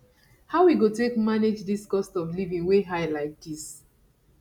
how we go take manage dis cost of living wey high like dis